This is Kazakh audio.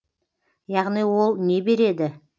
яғни ол не береді